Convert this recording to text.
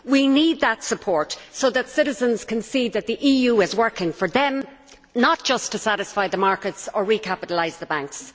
We need that support so that citizens can see that the EU is working for them, not just to satisfy the markets or recapitalise the banks.